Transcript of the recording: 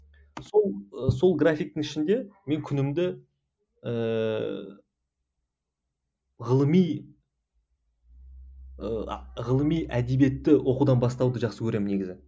сол сол графиктің ішінде мен күнімді ііі ғылыми і ғылыми әдебиетті оқудан бастауды жақсы көремін негізі